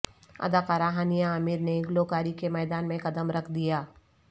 اداکارہ ہانیہ عامر نے گلوکاری کے میدان میں قدم رکھ دیا